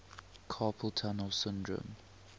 carpal tunnel syndrome